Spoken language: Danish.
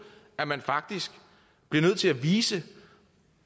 at man faktisk bliver nødt til at vise